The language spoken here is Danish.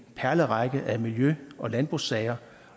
perlerække af miljø og landbrugssager